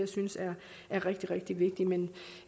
synes er rigtig rigtig vigtigt men